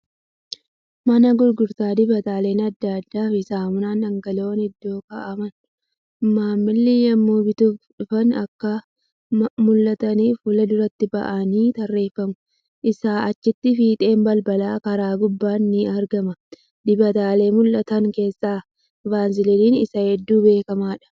Mana gurgurtaa dibataaleen adda addaa fi saamunaa dhangala'oon iddoo kaa'amu. Maamilli yemmuu bituuf dhufa akka mul'ataniif fuulduratti ba'anii tarreeffamu. Isaa acchitti fiixeen balbalaa kara gubbaan ni argama. Dibataalee mul'atan keessaa keessaa Vaasiliiniin isa hedduu beekamaadha.